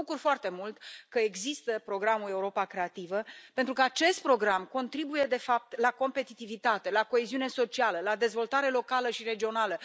Mă bucur foarte mult că există programul Europa creativă, pentru că acest program contribuie, de fapt, la competitivitate, la coeziune socială, la dezvoltare locală și regională.